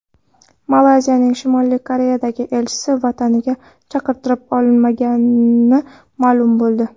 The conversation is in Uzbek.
Malayziyaning Shimoliy Koreyadagi elchisi vataniga chaqirtirib olinmagani ma’lum bo‘ldi.